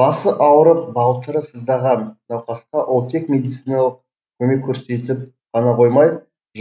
басы ауырып балтыры сыздаған науқасқа ол тек медициналық көмек көрсетіп қана қоймай